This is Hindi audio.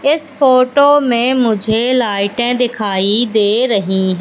इस फोटो में मुझे लाइटें दिखाई दे रही--